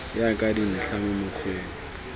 ya ka dintlha mo mokgweng